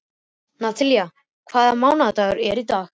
Natalía, hvaða mánaðardagur er í dag?